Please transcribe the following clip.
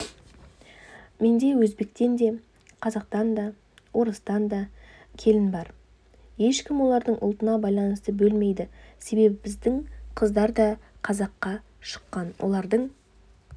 менде өзбектен де қазақтан да орыстан да келін бар ешкім оларды ұлтына байланысты бөлмейді себебі біздің қыздар да қазаққа шыққан олардың